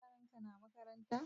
Yaran ka na makaranta